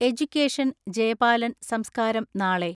Education Jayapalan സംസ്കാരം നാളെ.